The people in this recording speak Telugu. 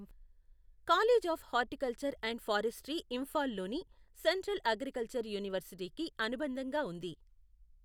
College of horticulture and forestry ఇంఫాల్లోని సెంట్రల్ అగ్రికల్చరల్ యూనివర్సిటీకి అనుబంధంగా ఉంది.